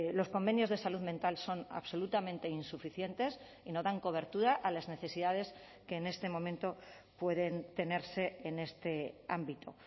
los convenios de salud mental son absolutamente insuficientes y no dan cobertura a las necesidades que en este momento pueden tenerse en este ámbito